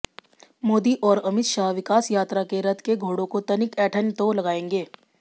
मोदी और अमित शाह विकास यात्रा के रथ के घोड़ों को तनिक ऐंठन तो लगाएं